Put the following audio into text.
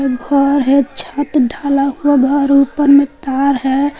घर है छत ढाला हुआ घर ऊपर में तार है।